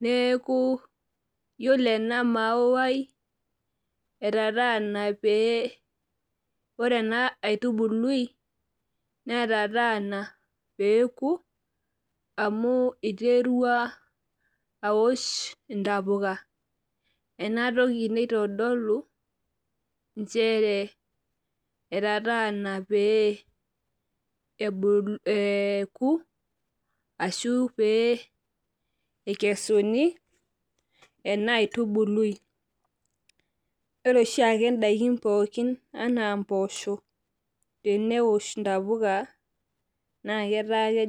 neeku iyiolo ena mayai, etataana pee ore ena aitubului peeku .amu iterua aosh intapuka. ena toki naitodolu nchere, etataana pee, eku. ashu pee ikesuni. ena aitubului. ore oshiake daikin pookin anaa mpoosho teneosh ntapuka. naa etaa